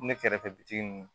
Ne kɛrɛfɛ bitigi ninnu